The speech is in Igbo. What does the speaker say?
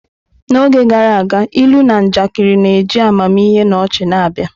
N'oge gara aga, ilu na njakịrị na-eji amamihe na ọchị na-abịa.